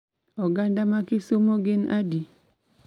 Oganda ma Kisumu gin adi?